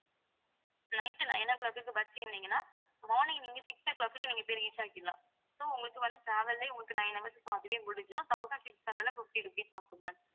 night nine o'clock க்கு bus ஏறுனீங்கன்னா morning நீங்க six o'clock க்கு நீங்க போய் reach ஆகிடலாம் so உங்களுக்கு வந்து travel லயே உங்களுக்கு nine hours அதுவே முடிஞ்சிரும் thousand six hundred and fifty rupees ஆகும் ma'am